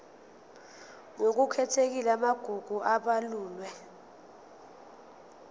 ngokukhethekile amagugu abalulwe